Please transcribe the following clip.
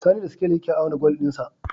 Sani da sikeli yake auna gwal din sa